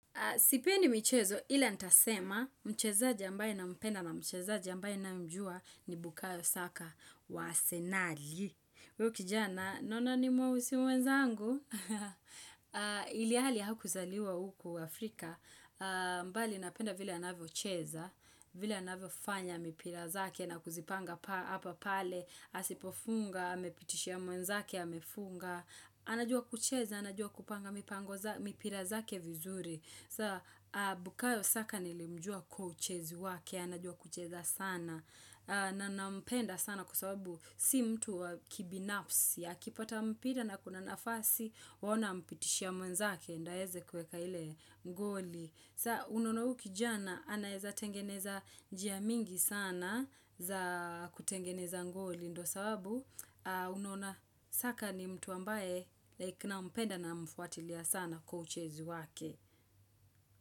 Sipendi michezo, ila nitasema, mchezaji ambaye ninampenda na mchezaji ambaye ninaye mjua ni Bukayo Saka wa Arsenal. Huu kijana, naona ni mweusi mwenzangu? Iliali haku zaliwa huku Afrika, bali napenda vile anavyo cheza, vile anavyo fanya mipirazake na kuzipanga hapa pale, asipofunga, amepitishia mwenzake, amefunga. Anajua kucheza, anajua kupanga mipira zake vizuri. Bukayo Saka nilimjua ukuchezi wake, anajua kucheza sana. Na ninampenda sana kwa sababu, si mtu wa kibinafsi. Akipata mpira na kuna nafasi, waona ampitishia mwenzake ndiyo aweze kuweka ile goli Unuona huu jana, anaweza tengeneza njia mingi sana za kutengeneza goli, ndiyo sababu unona, Saka ni mtu ambaye like nampenda na mfuatilia sana kwa uchezi wake.